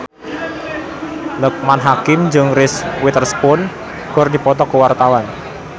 Loekman Hakim jeung Reese Witherspoon keur dipoto ku wartawan